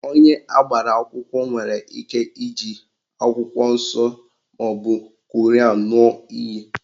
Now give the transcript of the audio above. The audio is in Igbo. Onye agbara akwụkwọ nwere ike iji akwụkwọ nsọ maọbụ Koran ṅụọ iyi